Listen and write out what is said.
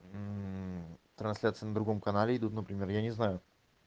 трансляции на другом канале идут например я не знаю